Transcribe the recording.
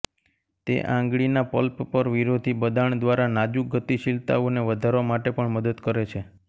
તે આંગળીના પલ્પ પર વિરોધી બદાણ દ્વારા નાજુક ગતિશીલતાઓને વધારવા માટે પણ મદદ કરે છે